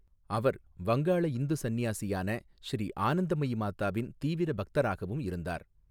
அவர் வங்காள இந்து சன்னியாசியான ஸ்ரீ ஆனந்தமயி மாதாவின் தீவிர பக்தராகவும் இருந்தார்.